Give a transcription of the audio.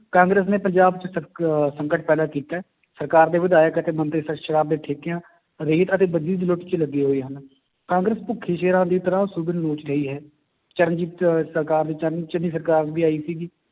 ਕਾਂਗਰਸ਼ ਨੇ ਪੰਜਾਬ 'ਚ ਸੰ~ ਅਹ ਸੰਕਟ ਪੈਦਾ ਕੀਤਾ ਹੈ, ਸਰਕਾਰ ਦੇ ਵਿਧਾਇਕ ਅਤੇ ਮੰਤਰੀ ਸ਼~ ਸ਼ਰਾਬ ਦੇ ਠੇਕਿਆਂ ਅਧੀਨ ਅਤੇ ਦੀ ਲੁੱਟ 'ਚ ਲੱਗੇ ਹੋਏ ਹਨ ਕਾਂਗਰਸ ਭੁੱਖੇ ਸੇਰਾਂ ਦੀ ਤਰ੍ਹਾਂ ਸੂਬੇ ਨੂੰ ਨੋਚ ਰਹੀ ਹੈ, ਚਰਨਜੀਤ ਸਰਕਾਰ ਨੇ ਚੰਨ~ ਚੰਨੀ ਸਰਕਾਰ ਵੀ ਆਈ ਸੀਗੀ